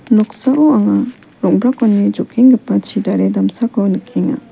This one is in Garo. noksao anga rong·brakoni jokenggipa chidare damsako nikenga.